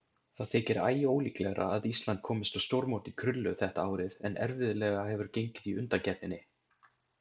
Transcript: Það þykir æólíklegra að Ísland komist á stórmót í krullu þetta árið en erfiðlega hefur gengið í undankeppninni.